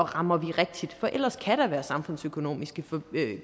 rammer rigtigt for ellers kan der være samfundsøkonomiske